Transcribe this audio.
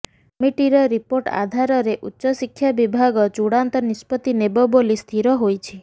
କମିଟିର ରିପୋର୍ଟ ଆଧାରରେ ଉଚ୍ଚଶିକ୍ଷା ବିଭାଗ ଚୂଡ଼ାନ୍ତ ନିଷ୍ପତ୍ତି ନେବ ବୋଲି ସ୍ଥିିର ହୋଇଛି